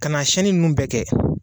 Ka na siyɛnni ninnu bɛɛ kɛ.